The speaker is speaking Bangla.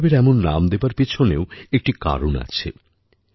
এই উৎসবের এমন নাম দেবার পেছনেও একটি কারণ আছে